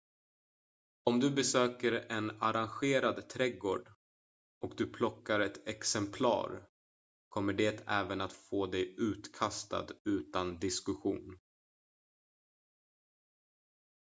"om du besöker en arrangerad trädgård och du plockar ett "exemplar" kommer det även att få dig utkastad utan diskussion.